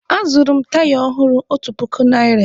Azụrụ m taya ọhụrụ otu puku naịra.